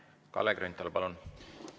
Kalle Grünthal, palun!